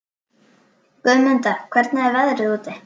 Guðmunda, hvernig er veðrið úti?